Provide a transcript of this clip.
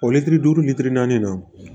O litiri duuru litiri naani na